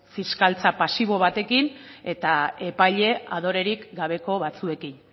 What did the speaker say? fiskaltza pasibo batekin eta epaile adorerik gabeko batzuekin